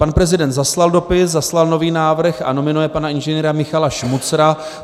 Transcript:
Pan prezident zaslal dopis, zaslal nový návrh a nominuje pana Ing. Michala Šmucra.